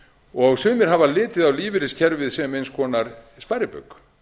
og sumir hafa litið á lífeyriskerfið sem eins konar sparibauk